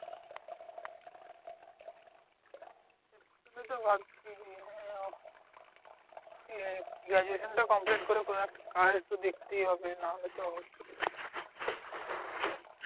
সেটাই তো ভাবছি যে হ্যাঁ উম গ্রাডুয়েশন টা complete করে কোনো একটা কাজ তো দেখতেই হবে নাহলে তো